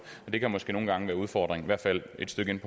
og det kan måske nogle gange være en udfordring i hvert fald et stykke ind